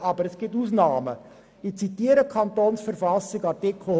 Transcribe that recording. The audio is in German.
Artikel 105 Absatz 1 der Kantonsverfassung schreibt vor: